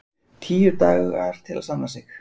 Tíu dagar til að sanna sig